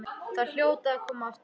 Þau hljóta að koma aftur.